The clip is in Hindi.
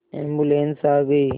एम्बुलेन्स आ गई